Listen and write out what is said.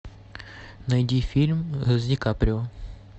найди фильм с ди каприо